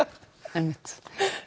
einmitt